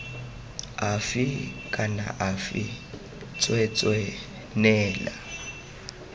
afe kana afe tsweetswee neela